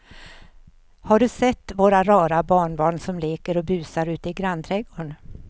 Har du sett våra rara barnbarn som leker och busar ute i grannträdgården!